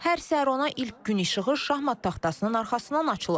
Hər səhər ona ilk gün işığı şahmat taxtasının arxasından açılıb.